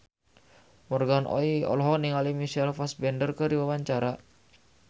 Morgan Oey olohok ningali Michael Fassbender keur diwawancara